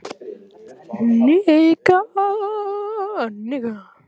Hún þrýsti peningaseðlum í lófann á honum.